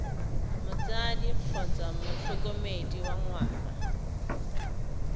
motsadi kgotsa motlhokomedi wa ngwana